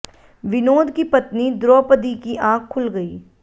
विनोद की पत्नी द्रोपदी की आंख खुल गई